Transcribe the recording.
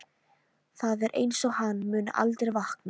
Það er einsog hann muni aldrei vakna.